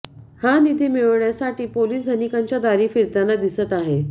हा निधी मिळविण्यासाठी पोलीस धनिकांच्या दारी फिरताना दिसत आहे